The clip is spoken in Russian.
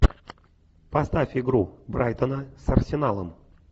поставь игру брайтона с арсеналом